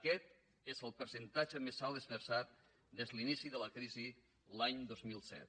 aquest és el percentatge més alt esmerçat des de l’inici de la crisi l’any dos mil set